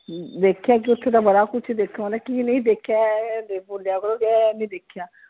ਦੇਖਿਆ ਕੀ ਓਥੇ ਤਾਂ ਬੜਾ ਕੁੱਛ ਦੇਖਣ ਵਾਲਾ ਸੀ ਕੀ ਨਹੀਂ ਦੇਖਿਆ ਇਹ ਬੋਲਿਆ ਕਰੋ ਬੀ ਇਹ ਇਹ ਨਹੀਂ ਦੇਖਿਆ।